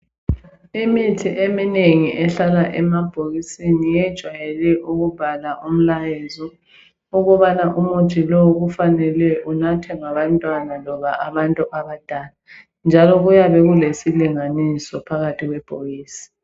Imithi eminengi ehlala emabhokisini yejwayele ukubhalwa umlayezo ukubana umuthi lowu kufanele unathwe ngabantwana loba abantu abadala. Njalo kuyabe kulesilinganiso phakathi kwebhokisi.